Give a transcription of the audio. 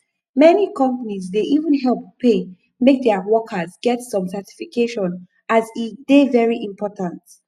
many companies dey even help pay make their workers get some certification as e dey very important